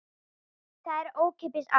Það er ókeypis allt.